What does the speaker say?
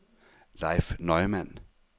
Leif Neumann